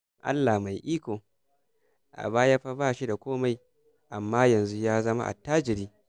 Allah mai iko! A baya fa ba shi da komai, amma yanzu ya zama attajiri